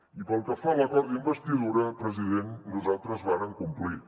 i pel que fa a l’acord d’investidura president nosaltres vàrem complir